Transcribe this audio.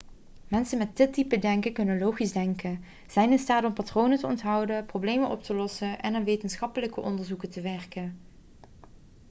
mensen met dit type denken kunnen logisch denken zijn in staat om patronen te onthouden problemen op te lossen en aan wetenschappelijke onderzoeken te werken